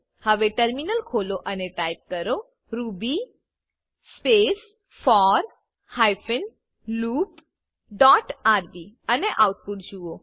હવે ટર્મિનલ ખોલો અને ટાઈપ કરો Ruby space four hyphen loop dot RB અને આઉટપુટ જુઓ